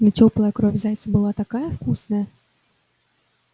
но тёплая кровь зайца была такая вкусная